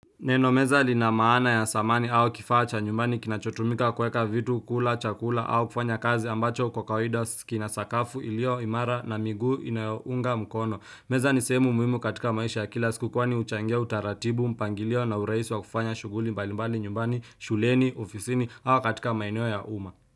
Neno meza lina maana ya samani au kifaa cha nyumbani kinacho tumika kuweka vitu kula chakula au kufanya kazi ambacho kwa kawaida si kina sakafu iliyo imara na miguu inayounga mkono. Meza ni sehemu muhimu katika maisha ya kila siku kwani huchangia utaratibu mpangilio na urahisi wa kufanya shughuli mbalimbali nyumbani shuleni ofisini au katika maeneo ya uma.